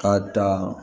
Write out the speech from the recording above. K'a dan